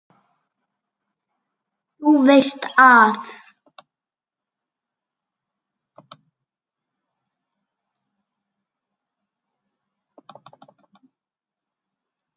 Þú veist að.